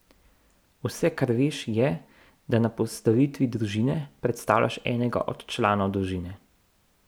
Vse, kar veš, je, da na postavitvi družine predstavljaš enega od članov družine.